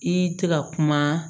I tɛ ka kuma